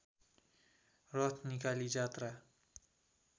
रथ निकाली जात्रा